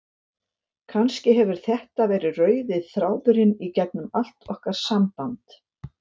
Kannski hefur þetta verið rauði þráðurinn í gegnum allt okkar samband.